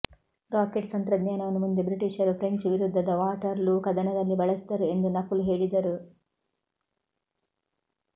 rocket ತಂತ್ರಜ್ಞಾನವನ್ನು ಮುಂದೆ ಬ್ರಿಟಿಷರು ಫ್ರೆಂಚ್ ವಿರುದ್ಧದ ವಾಟರ್ ಲೂ ಕದನದಲ್ಲಿ ಬಳಸಿದರು ಎಂದು ನಕುಲ್ ಹೇಳಿದರು